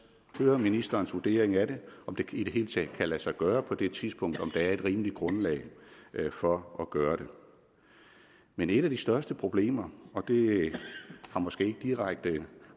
høre ministerens vurdering af det og om det i det hele taget kan lade sig gøre på det tidspunkt om der er et rimeligt grundlag for at gøre det men et af de største problemer og det har måske ikke direkte